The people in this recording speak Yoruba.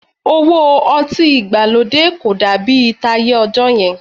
Òwò ọtí ìgbàlódé kò dàbí táyé ọjọ́ yẹn